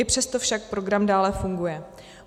I přesto však program dále funguje.